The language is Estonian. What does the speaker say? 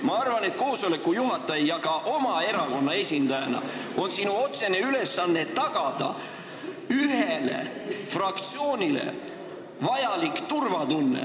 Ma arvan, et koosoleku juhatajal, kes on ka oma erakonna esindaja, on otsene ülesanne tagada siin fraktsioonile vajalik ühene turvatunne.